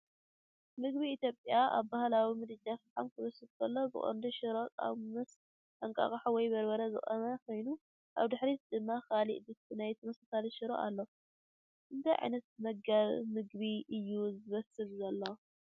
ምግቢ ኢትዮጵያ ኣብ ባህላዊ ምድጃ ፈሓም ክብሰል ከሎ። ብቐንዱ ሽሮ (ቃው) ምስ እንቋቑሖ ወይ በርበረ ዝቖመ ኮይኑ፡ ኣብ ድሕሪት ድማ ካልእ ድስቲ ናይ ተመሳሳሊ ሽሮ ኣሎ። እንታይ ዓይነት መግቢ እዩ ዝብሰል ዘሎ?